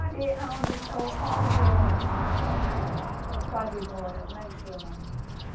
Ali, aonde onde o o o padre mora, como é que chama?